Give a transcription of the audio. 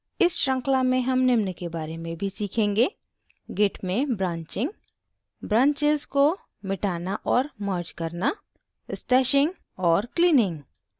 इस श्रृंखला में हम निम्न के बारे में भी सीखेंगे: git में ब्रान्चिंग ब्रांच करना ब्रांचेज़ उपखण्ड को मिटाना और मर्ज करना स्टैशिंग और क्लीनिंग